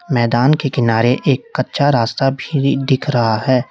मैदान के किनारे एक कच्चा रास्ता भी दिख रहा है।